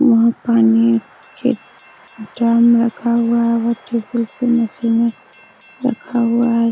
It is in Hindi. ऊहां पानी के ड्राम रखा हुआ है और टेबुल पे मशीने रखा हुआ है।